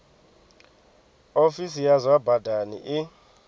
ofisi ya zwa badani i